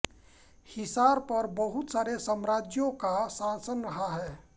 हिसार पर बहुत सारे साम्राज्यों का शासन रहा है